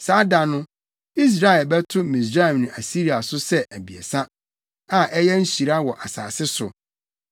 Saa da no Israel bɛto Misraim ne Asiria so sɛ abiɛsa, a ayɛ nhyira wɔ asase so.